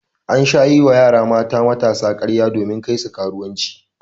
An sha yi wa mata matasa karya domin Kai su karuwanci.